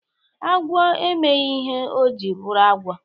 Agwọ emeghi ihe o ji bụrụ agwọ..